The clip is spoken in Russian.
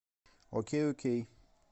окей окей